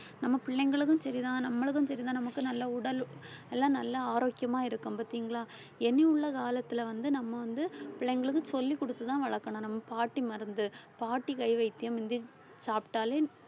நம்ம பிள்ளைகளுக்கும் சரிதான் நம்மளுக்கும் சரிதான் நமக்கு நல்ல உடல் எல்லாம் நல்லா ஆரோக்கியமா இருக்கும் பார்த்தீங்களா எண்ணியுள்ள காலத்துல வந்து நம்ம வந்து பிள்ளைங்களுக்கு சொல்லிக் குடுத்துதான் வளர்க்கணும் நம்ம பாட்டி மருந்து பாட்டி கை வைத்தியம் மிந்தி சாப்பிட்டாலே